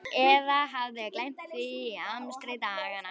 Eða hafði gleymt því í amstri daganna.